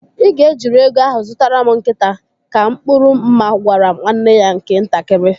Ị ga ejiri ego ahụ zụtara m nkịta, ka Mkpụrụ Mma gwara nwanne ya nke ntakịrị.